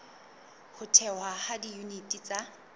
ho thehwa ha diyuniti tsa